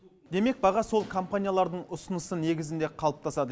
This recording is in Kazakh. демек баға сол компаниялардың ұсынысы негізінде қалыптасады